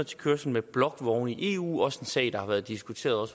til kørsel med blokvogne i eu også en sag der har været diskuteret